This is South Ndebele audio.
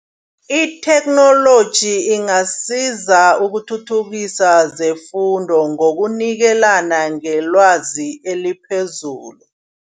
Itheknoloji ingasiza ukuthuthukisa zefundo ngokunikelana ngelwazi eliphezulu.